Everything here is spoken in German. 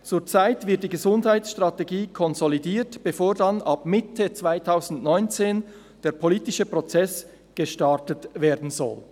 Zurzeit wird die Gesundheitsstrategie konsolidiert, bevor dann ab Mitte 2019 der politische Prozess gestartet werden soll.